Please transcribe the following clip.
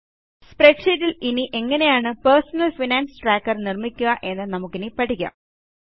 സ്പ്രെഡ്ഷീറ്റിൽ ഇനി എങ്ങനെയാണ് personal finance tracker നിർമ്മിക്കുക എന്ന് നമുക്കിനി പഠിക്കാം